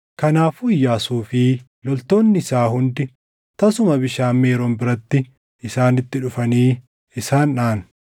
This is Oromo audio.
Kanaafuu Iyyaasuu fi loltoonni isaa hundi tasuma bishaan Meeroon biratti isaanitti dhufanii isaan dhaʼan;